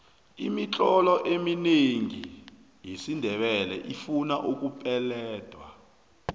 imitlolo eminengi yesindebele ifuna ukupeledwa